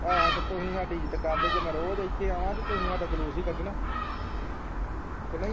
ਹਾਂ ਤੇ ਤੁਸੀਂ ਸਾਡੀ ਇੱਜ਼ਤ ਕਰਦੇ ਜੇ ਮੈਂ ਰੋਜ਼ ਇਥੇ ਆਵਾਂ ਤੇ ਤੁਸੀਂ ਸਾਡਾ ਜੁਲੂਸ ਹੀ ਕੱਢਣਾ ਕਿ ਨਹੀਂ